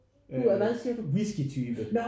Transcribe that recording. Øh whisky type